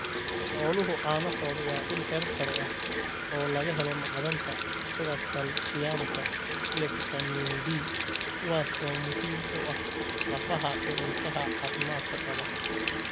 Xooluhu caanahooda waa il heer sare ah oo laga helo macdanta sida kaalshiyamka iyo fiitamiin D, kuwaas oo muhiim u ah lafaha iyo ilkaha caafimaadka qaba.